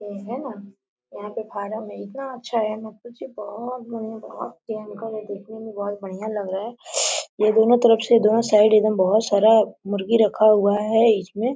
ये है न यहाँ पे फराम है इतना अच्छा है मत पूछिए बहोत बढ़िया बहोत भयंकर है देखने में बोहत बढ़िया लग रहा है ये दोनों तरफ से दोनों साइड एकदम बहोत सारा मुर्गी रखा हुआ है इसमें।